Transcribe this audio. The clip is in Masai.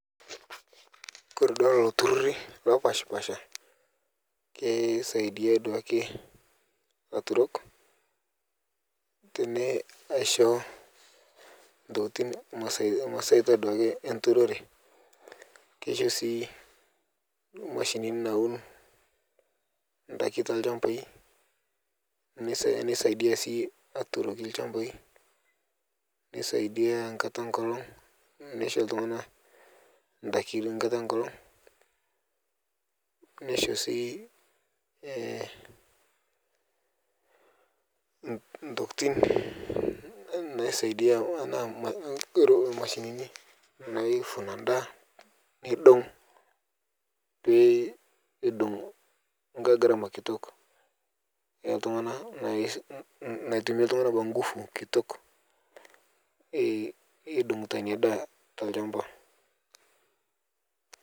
kore duake lolo tururii lopashpaasha keisaidia duake laturok teneisho ntokitin masaitaa duake enturoree keishoo sii mashinini nawun ndaki telshampai neisaidia sii aturokii lshampai neisaidia nkata enkolong neisho ltunganaa ndaki nkataa enkolong neishoo sii ntokitin tanaa mashinini naivuna ndaa neidong pedou nghai gharamaa kitok eltungana natumii ltungana kwa nguvu kitok eidongutaa inia daa telshampaa